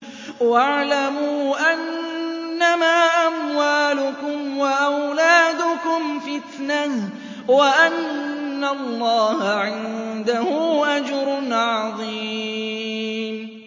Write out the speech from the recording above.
وَاعْلَمُوا أَنَّمَا أَمْوَالُكُمْ وَأَوْلَادُكُمْ فِتْنَةٌ وَأَنَّ اللَّهَ عِندَهُ أَجْرٌ عَظِيمٌ